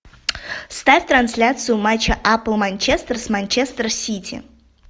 ставь трансляцию матча апл манчестер с манчестер сити